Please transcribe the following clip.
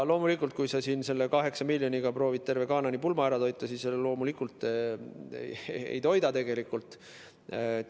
Loomulikult, kui sa selle 8 miljoniga proovid terve Kaana pulma ära toita, siis tegelikult ei toida.